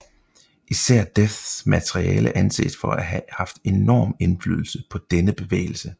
Især Deaths materiale anses for at have haft enorm indflydelse på denne bevægelse